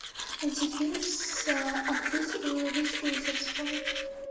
найти фильм с актрисой риз уизерспун